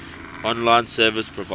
online service providers